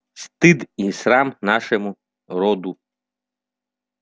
стыд и срам нашему роду